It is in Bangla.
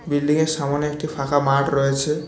বিল্ডিংয়ের সামোনে একটি ফাঁকা মাঠ রয়েছে।